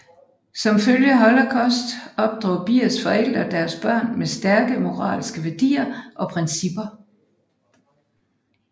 Som følge af holocaust opdrog Biers forældre deres børn med stærke moralske værdier og principper